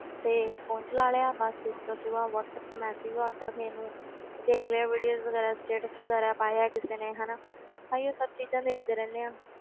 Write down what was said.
ਤੇ phone ਚਲਾ ਲਿਆ ਬਸ ਇਸ ਤੋਂ ਸਿਵਾ ਵਾਟਸੈਪ ਤੇ message ਕਰ ਦਿੱਤਾ ਕਿਸੇ ਨੂੰ ਤੇ ਦੇਖ ਲਏ videos ਵਗ਼ੈਰਾ status ਵਗ਼ੈਰਾ ਪਾਏ ਆ ਕਿਸੇ ਨੇ ਹਨਾ ਆਹੀਓ ਸਭ ਚੀਜ਼ਾਂ ਦੇਖਦੇ ਰਹਿੰਦੇ ਹਾਂ,